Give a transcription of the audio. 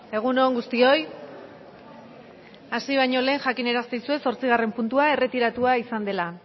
egun on guztioi osoko bilkurari hasiera emango diogu mesedez bakoitza zuen eserlekuetan eseri hasi baino lehen jakinarazten dizuet zortzigarren puntua erretiratua izan dela